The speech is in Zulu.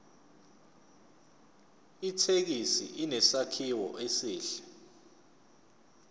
ithekisi inesakhiwo esihle